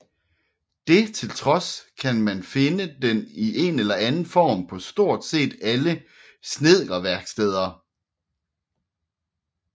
Det til trods kan man finde den i en eller anden form på stort set alle snedkerværksteder